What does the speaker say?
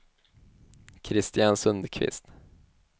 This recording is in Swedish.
Kristian Sundkvist